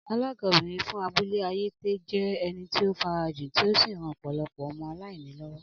Alága obìrin fún abúlé ayétè jé ẹni tí o farajin tí o sí ran ọpọlọpọ ọmọ aláìní lọwọ